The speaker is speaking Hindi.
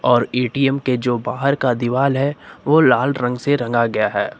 और ए_टी_एम के जो बाहर का दीवाल है वो लाल रंग से रंगा गया है।